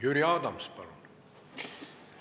Jüri Adams, palun!